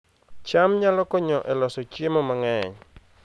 cham nyalo konyo e loso chiemo mang'eny